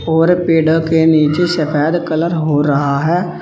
और पेडा के नीचे से सफेद कलर हो रहा है।